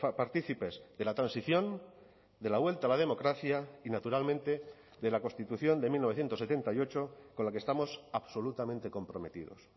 partícipes de la transición de la vuelta a la democracia y naturalmente de la constitución de mil novecientos setenta y ocho con la que estamos absolutamente comprometidos